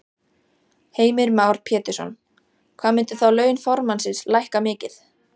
Heimir Már Pétursson: Hvað myndu þá laun formannsins lækka mikið?